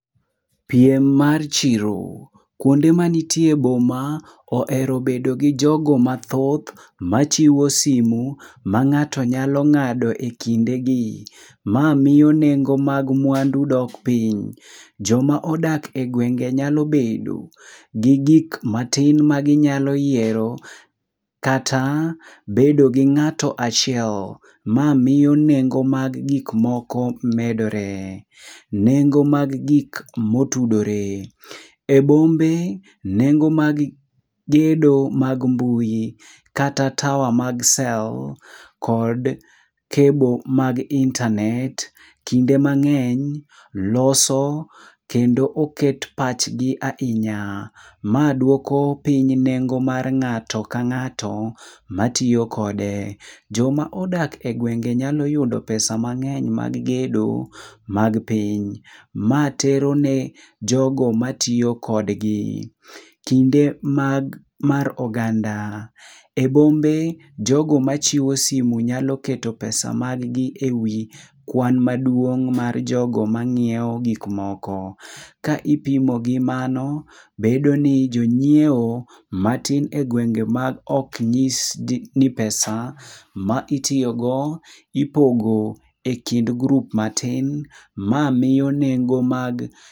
Piem mar chiro. Kuonde manitie e boma ohero bedo gi jogo mathoth machiwo simu ma ng'ato nyalo ng'ado ekindegi. Ma miyo nengo mag mwandu dok piny. Joma odak egwenge nyalo bedo gi gik matin ma ginyalo yiero, kata bedo gi ng'ato achiel. Ma miyo nengo mag gik moko medore. Nengo mag gik motudore. E bombe, nengo mag gedo mag mbui, kata tawa mag sel kod cable mag internet kinde mang'eny loso kendo oket pachgi ahinya. Ma dwoko piny nengo mar ng'ato ka ng'ato matiyo kode. Joma odak egwenge nyalo yudo pesa b mang'eny mag gedo mag piny. Ma tero ne jogo matiyo kodgi. Kinde mag mar oganda. Ebombe jogo machiwo simu nyalo keto pesa mag gi ewi kwan maduong' mar jogo manyiewo gik moko. Ka ipimo gi mano, bedo ni jonyiewo matin egwenge maok nyis ni pesa ma itiyogo ipogo ekind grup matin ma miyo nengo mag